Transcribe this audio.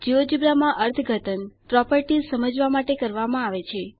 GeoGebra માં અર્થઘટન properties સમજવા માટે કરવામાં આવે છે